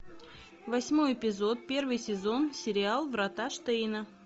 восьмой эпизод первый сезон сериал врата штейна